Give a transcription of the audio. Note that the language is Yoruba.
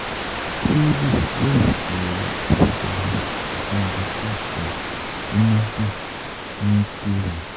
Swvl yóò ṣe àkójọ ìpín thirty five percent ní Nasdaq ní Q one